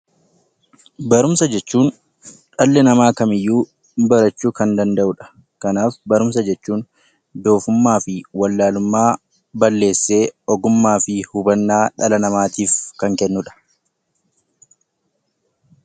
Barumsa jechuun dhalli nama kamiyyuu barachuu kan danda'udha. kanaaf barumsa jechuun doofummaafi wallalumma balleesse ogummaa fi hubanna dhala namaatif kan kennudha.